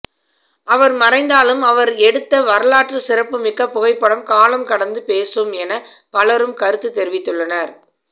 அவர் மறைந்தாலும் அவர் எடுத்த வரலாற்று சிறப்புமிக்க புகைப்படம் காலம் கடந்து பேசும் என பலரும் கருத்து தெரிவித்துள்ளனர்